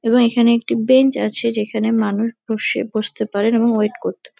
এবং এখানে একটি বেঞ্চ আছে যেখানে মানুষ বসে বসতে পারে এবং ওয়েট করতে পা--